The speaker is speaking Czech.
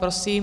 Prosím.